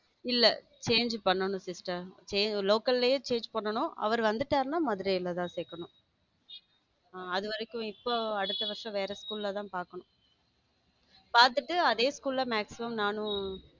இல்ல change பண்ணனும் sister local லோ change பண்ணனும் அவர் வந்துட்டாருன்னா மதுரையில் தான் சேர்க்கணும அதுவரைக்கும் இப்போ அடுத்த வருஷம் வேற school தான் பார்க்கணும பார்த்துட்டு அதே school ல maximum நானும்.